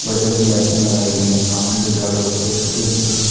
white colour की लाइटिंग लगाई गई हैं सामने दिखाई दे--